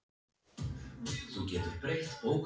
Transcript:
Kristinn: Breytir þetta einhverju um trúna hjá ykkur?